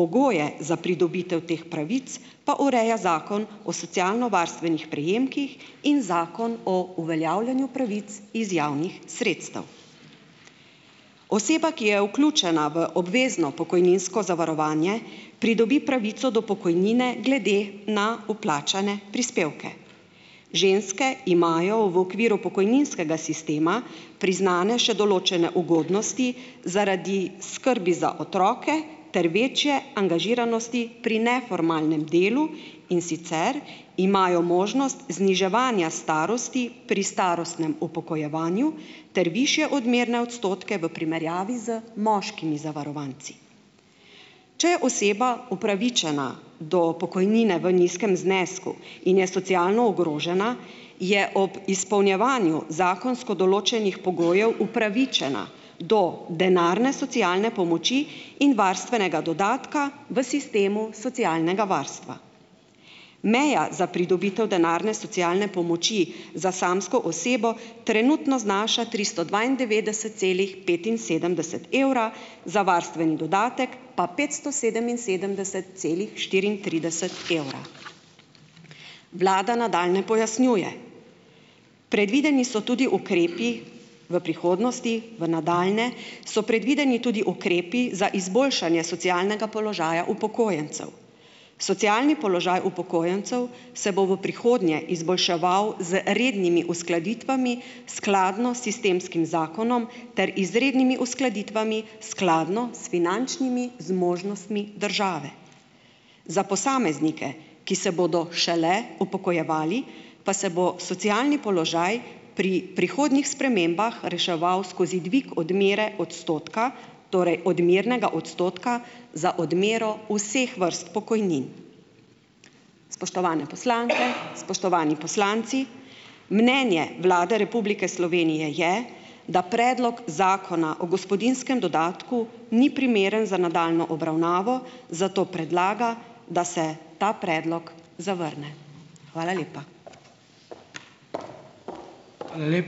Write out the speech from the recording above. pogoje za pridobitev teh pravic pa ureja Zakon o socialnovarstvenih prejemkih in Zakon o uveljavljanju pravic iz javnih sredstev. Oseba, ki je vključena v obvezno pokojninsko zavarovanje, pridobi pravico do pokojnine glede na vplačane prispevke. Ženske imajo v okviru pokojninskega sistema priznane še določene ugodnosti zaradi skrbi za otroke ter večje angažiranosti pri neformalnem delu, in sicer imajo možnost zniževanja starosti pri starostnem upokojevanju ter višje odmerne odstotke v primerjavi z moškimi zavarovanci. Če je oseba upravičena do pokojnine v nizkem znesku in je socialno ogrožena, je ob izpolnjevanju zakonsko določenih pogojev upravičena do denarne socialne pomoči in varstvenega dodatka v sistemu socialnega varstva. Meja za pridobitev denarne socialne pomoči za samsko osebo trenutno znaša tristo dvaindevetdeset celih petinsedemdeset evra, za varstveni dodatek pa petsto sedeminsedemdeset celih štiriintrideset evra. Vlada nadaljnje pojasnjuje, predvideni so tudi ukrepi v prihodnosti, v nadaljnje so predvideni tudi ukrepi za izboljšanje socialnega položaja upokojencev. Socialni položaj upokojencev se bo v prihodnje izboljševal z rednimi uskladitvami, skladno s sistemskim zakonom, ter izrednimi uskladitvami, skladno s finančnimi zmožnostmi države. Za posameznike, ki se bodo šele upokojevali, pa se bo socialni položaj pri prihodnjih spremembah reševal skozi dvig odmere odstotka, torej odmernega odstotka za odmero vseh vrst pokojnin. Spoštovane poslanke, spoštovani poslanci, mnenje Vlade Republike Slovenije je, da predlog zakona o gospodinjskem dodatku ni primeren za nadaljnjo obravnavo, zato predlaga, da se ta predlog zavrne. Hvala lepa.